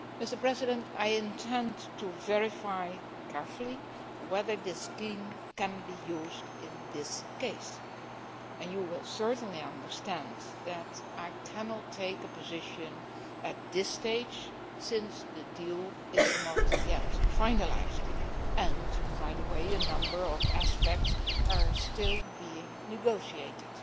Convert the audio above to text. Mr President, I intend to verify carefully whether this scheme can be used in this case and you will certainly understand that I cannot take a position at this stage since the deal is not yet finalised and, by the way, a number of aspects are still being negotiated.